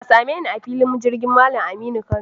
Ka same ni a filin jirgin Malam Aminu Kano.